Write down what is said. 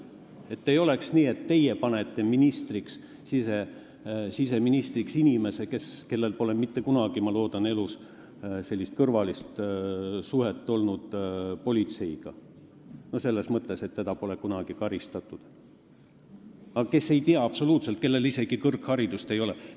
Et ei oleks nii, et teie panete siseministriks inimese, kellel pole mitte kunagi, ma loodan, elus olnud sellist kõrvalist suhet politseiga, selles mõttes, et teda ei ole kunagi karistatud, aga kes ei tea absoluutselt midagi ja kellel isegi kõrgharidust ei ole.